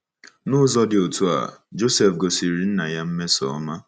N’ụzọ dị otú a, Joseph gosiri nna ya mmesoọma.